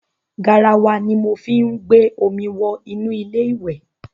Garawa ni mo fí ń gbé omi wọ inú ilé ìwẹ̀.